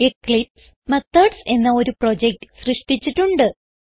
Eclipse methods എന്ന ഒരു project സൃഷ്ടിച്ചിട്ടുണ്ട്